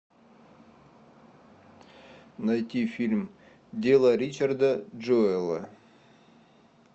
найти фильм дело ричарда джуэлла